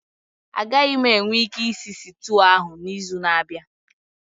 Agaghị m enwe ike ịsị sịtịụ ahụ n'izu na-abịa